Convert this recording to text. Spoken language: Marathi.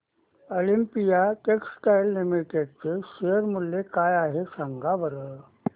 ऑलिम्पिया टेक्सटाइल्स लिमिटेड चे शेअर मूल्य काय आहे सांगा बरं